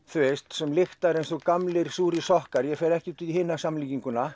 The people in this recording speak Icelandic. sem lyktar eins og gamlir súrir sokkar ég fer ekkert í hina samlíkinguna